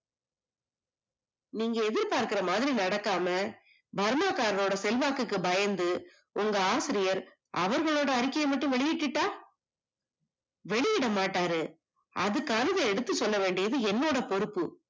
நீங்க எதிர்பார்க்கிற மாதிரி நடக்காமா பர்மா காரரோட செல்வாக்குக்கு பயந்து உங்க ஆசிரியர் அவர்கள்ளோட அறிக்கையை மட்டும் வெளியிட்டுட்டா? வெளியிடமாட்டாரு அதுக்காவது எடுத்து சொல்லவேண்டியது என்னோட பொறுப்பு